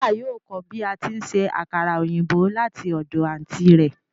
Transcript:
Maria yóò kọ bi ati nse akara oyinbo lati ọdọ anti rẹ